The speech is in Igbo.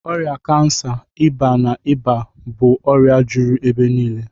Ọrịa kansa, ịba, na ịba bụ ọrịa juru ebe niile